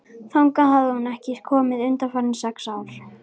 Þangað hafði hún því ekki komið undanfarin sex ár.